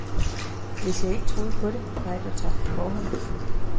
Hvis jeg ikke troede på det, var alt jo tabt på forhånd.